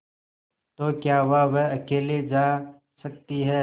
तो क्या हुआवह अकेले जा सकती है